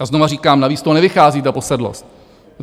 A znovu říkám, navíc to nevychází, ta posedlost.